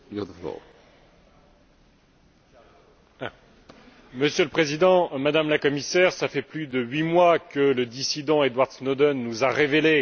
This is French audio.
Monsieur le Président, Madame la Commissaire, cela fait plus de huit mois que le dissident Edward Snowden nous a révélé le plus grand scandale d'espionnage jamais vu dans des démocraties.